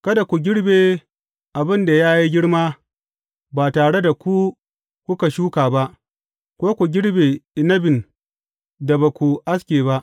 Kada ku girbe abin da ya yi girma ba tare da ku kuka shuka ba, ko ku girbe inabin da ba ku aske ba.